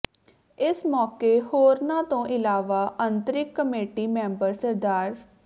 ਇਸ ਮੌਕੇ ਹੋਰਨਾਂ ਤੋਂ ਇਲਾਵਾ ਅੰਤ੍ਰਿੰਗ ਕਮੇਟੀ ਮੈਂਬਰ ਸ